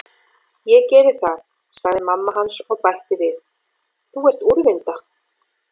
Ég geri það, sagði mamma hans og bætti við: Þú ert úrvinda.